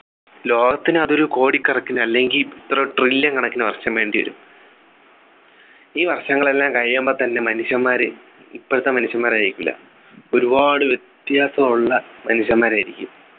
ലോകത്തിനു അതൊരു കോടി കണക്കിന് അല്ലെങ്കി ഇത്ര trillion കണക്കിന് വർഷം വേണ്ടിവരും ഈ വർഷങ്ങളെല്ലാം കഴിയുമ്പോ തന്നെ മനുഷ്യന്മാര് ഇപ്പോളത്തെ മനുഷ്യൻമാരായിരിക്കില്ല ഒരുപാട് വ്യത്യാസം ഉള്ള മനുഷ്യന്മാരായിരിക്കും